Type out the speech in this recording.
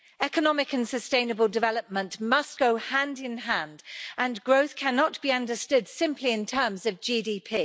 Economic and sustainable development must go hand in hand and growth cannot be understood simply in terms of GDP.